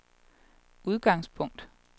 udgangspunkt